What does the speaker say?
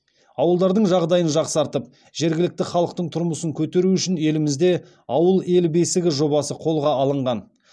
ауылдардың жағдайын жақсартып жергілікті халықтың тұрмысын көтеру үшін елімізде ауыл ел бесігі жобасы қолға алынған